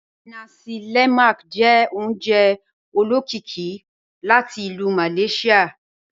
Nàsí lé̩màk jẹ́ ò̩ùnjẹ̀ ò̩ló̩kíkí láti Ilú Malaysia.